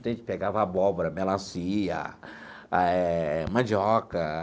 Então a gente pegava abóbora, melancia eh, mandioca.